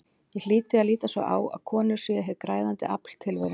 Ég hlýt því að líta svo á að konur séu hið græðandi afl tilverunnar.